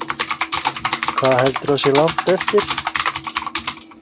Hvað heldurðu að sé langt eftir?